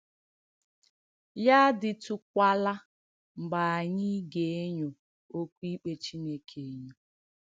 Ya àdị̀tùkwàlà mgbe ànyị̀ ga-ènyò òkwù ìkpè Chìnèkè ènyò.